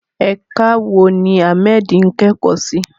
Ẹ̀ka wo ni Ahmed ń kẹ́kọ̀ọ́ sí?